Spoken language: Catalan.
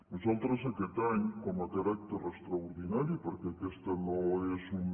nosaltres aquest any com a caràcter extraordinari perquè aquesta no és una